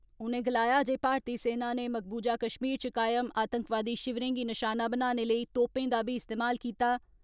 उनें गलाया जे भारतीय सेना नै मकबूजा कश्मीर च कायम आतंकवादी शिवरें गी नशाना बनाने लेई तोपें दा बी इस्तेमाल कीता।